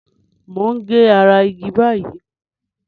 Mo ń ge ara igi báyìí.